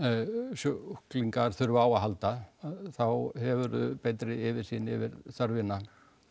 sjúklingar þurfa á að halda þá hefurðu betri yfirsýn yfir þörfina